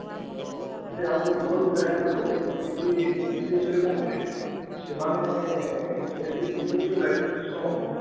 କିନ୍ତୁ ଆମକୁ ମୂଳ କିଛି ଜାଣିବାକୁ ପଡିବ ଯେ ଯେମିତି ବିଦେଶରେ କଣ ହୁଏ ସେମାନେ system ଅଧିକ